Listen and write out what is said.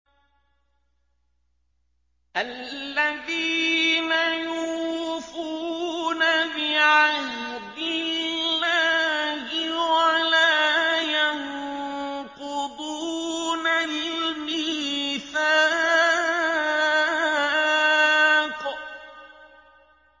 الَّذِينَ يُوفُونَ بِعَهْدِ اللَّهِ وَلَا يَنقُضُونَ الْمِيثَاقَ